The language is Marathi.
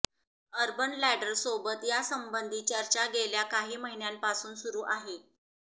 अर्बन लॅडरसोबत यासंबंधी चर्चा गेल्या काही महिन्यांपासून सुरु आहे